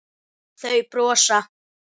Þau brosa.